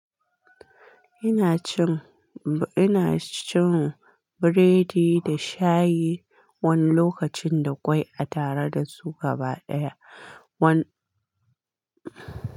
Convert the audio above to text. Ina cin, ina cin biredi da shayi wani lokacin da kwai a tare da su gaba ɗaya. Wani.